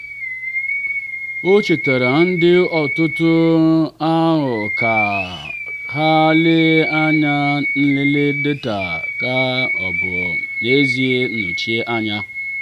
o chetaara ndị otu ahụ ka ha lelee ma nlele data ha ọ bụ n'ezie nnọchite anya.